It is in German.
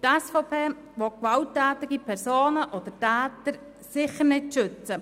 Die SVP will gewalttätige Personen sicher nicht schützen.